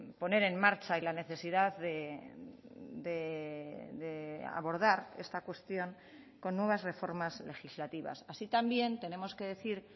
poner en marcha y la necesidad de abordar esta cuestión con nuevas reformas legislativas así también tenemos que decir